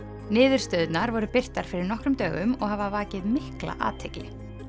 niðurstöðurnar voru birtar fyrir nokkrum dögum og hafa vakið mikla athygli